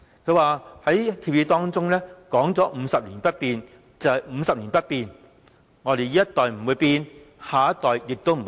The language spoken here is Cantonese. "他在協議中說 "50 年不變，就是50年不變，我們這一代不會變，下一代亦不會變"。